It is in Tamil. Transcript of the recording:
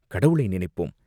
கடவுளை நினைப்போம்!